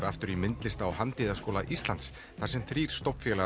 aftur í myndlistar og handíðarskóla Íslands þar sem þrír